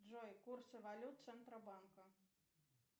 джой курсы валют центробанка